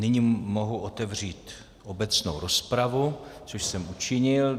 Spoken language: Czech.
Nyní mohu otevřít obecnou rozpravu, což jsem učinil.